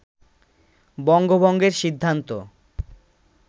বঙ্গভঙ্গের সিদ্ধান্ত